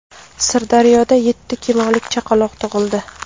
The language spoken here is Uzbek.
Sirdaryoda yetti kilolik chaqaloq tug‘ildi.